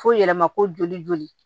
F'o yɛlɛma ko joli joli